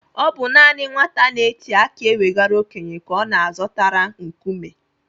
Ọ bụ naanị nwata na-eti aki ewegara okenye ka ọ na-azọtara nkume.